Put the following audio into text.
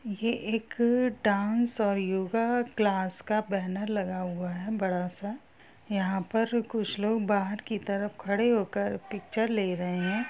ये एक अ डांस और योगा क्लास का बैनर लगा हुआ है बड़ा सा यहाँ पर कुछ लोग बाहर की तरफ खड़े होकर पिक्चर ले रहे हैं।